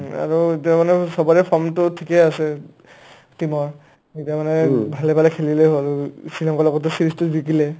উম আৰু ইতা মানে চবৰে form টো থিকে আছে team ৰ এতিয়া মানে ভালে ভালে খেলিলে হ'ল শ্ৰীলংকাৰ লগতটো series টো জিকিলে